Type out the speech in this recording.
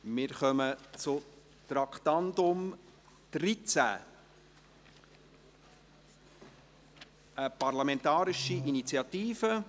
Wir kommen zu Traktandum 13, einer parlamentarischen Initiative.